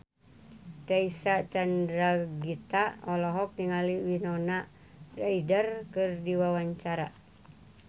Reysa Chandragitta olohok ningali Winona Ryder keur diwawancara